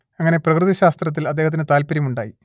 അങ്ങനെ പ്രകൃതി ശാസ്ത്രത്തിൽ അദ്ദേഹത്തിന് താല്പര്യമുണ്ടായി